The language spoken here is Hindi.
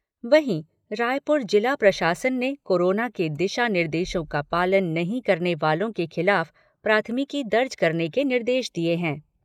वहीं, रायपुर जिला प्रशासन ने कोरोना के दिशा निर्देशों का पालन नहीं करने वालों के खिलाफ प्राथमिकी दर्ज करने के निर्देश दिए हैं।